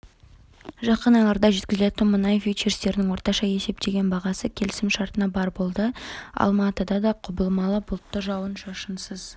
жақын айларда жеткізілетін мұнай фьючерстерінің орташа есептеген бағасы келісімшартына барр болды алматыда да құбылмалы бұлтты жауын-шашынсыз